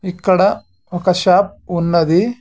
ఇక్కడ ఒక షాప్ ఉన్నది.